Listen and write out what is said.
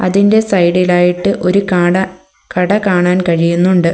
ഇതിൻ്റെ സൈഡ് ഇലായിട്ട് ഒരു കാട കട കാണാൻ കഴിയുന്നുണ്ട്.